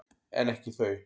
En ekki þau.